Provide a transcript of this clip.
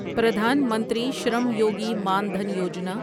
Pradhan Mantri Shram Yogi Maan Dhan Yojana